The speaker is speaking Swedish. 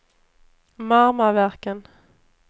Marmaverken